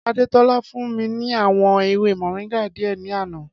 Adétọ́lá fún mi ní àwọn ewé moringa díẹ̀ ní àná